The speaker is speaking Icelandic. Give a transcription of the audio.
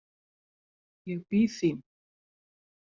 Ég bíð þín.